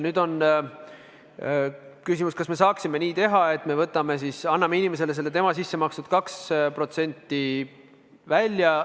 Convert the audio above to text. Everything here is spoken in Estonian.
Nüüd on küsimus, kas me saaksime nii teha, et me anname inimesele vaid selle tema sisse makstud 2% kätte.